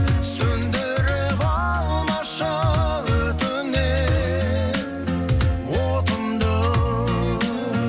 сөнідіріп алмашы өтінемін отымды